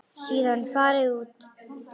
Síðan farið út.